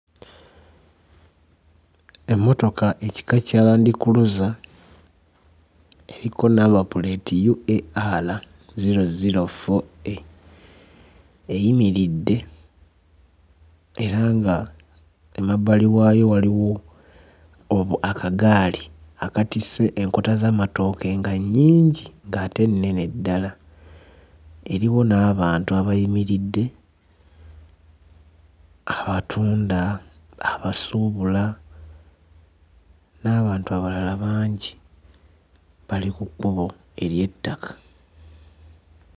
Emmotoka ekika kya Land Cruiser eriko number plate UAR 004A eyimiridde era ng'emabbali waayo waliwo obu... akagaali akatisse enkota z'amatooke nga nnyingi ng'ate nnene ddala. Eriwo n'abantu abayimiridde, abatunda, abasuubula, n'abantu abalala bangi bali ku kkubo ery'ettaka.